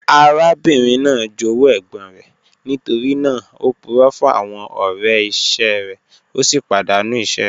Arábìnrin naá jówú ègbòn rẹ̀, nítorí naà ó púrọ̀ fún àwọn ọ̀rẹ̀ iṣẹ rẹ̀, o sì padàńú iṣẹ̀ rẹ̀.